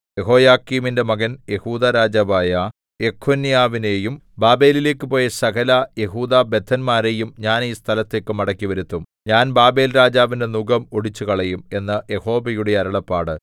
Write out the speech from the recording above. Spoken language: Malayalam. യെഹോയാക്കീമിന്റെ മകൻ യെഹൂദാ രാജാവായ യെഖൊന്യാവിനെയും ബാബേലിലേക്കു പോയ സകല യെഹൂദാബദ്ധന്മാരെയും ഞാൻ ഈ സ്ഥലത്തേക്ക് മടക്കിവരുത്തും ഞാൻ ബാബേൽരാജാവിന്റെ നുകം ഒടിച്ചുകളയും എന്ന് യഹോവയുടെ അരുളപ്പാട്